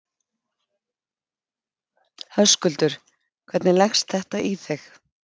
Höskuldur: Hvernig leggst þetta í þig?